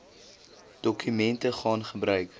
dokumente gaan gebruik